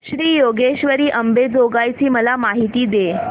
श्री योगेश्वरी अंबेजोगाई ची मला माहिती दे